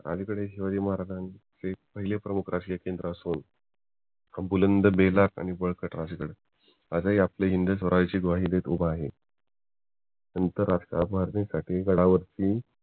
अलीकडे शिवाजी महाराजांचे प्रमुख राजकीय केंद्र असून एक बुलंद बेधाक आणि बळकट राजगड आजही आपल्या हिंदू स्वराज्याची ग्वाही देत आहे आंतरराष्ट्रीय मार्ग साठी गडावर ती